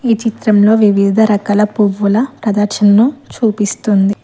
ఈ చిత్రంలో వివిధ రకాల పువ్వుల ప్రదర్శనను చూపిస్తుంది.